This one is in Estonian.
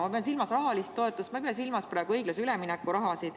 Ma pean silmas rahalist toetust, aga ma ei pea praegu silmas õiglase ülemineku raha.